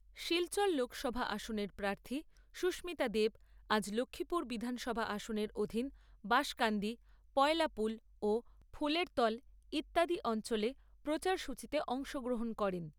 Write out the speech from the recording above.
শিলচর লোকসভা আসনের প্রার্থী সুস্মিতা দেব আজ লক্ষিপুর বিধানসভা আসনের অধীন বাসকান্দি, পয়লাপুল ও ফুলেরতল ইত্যাদি অঞ্চলে প্রচার সূচিতে অংশগ্রহণ করেন।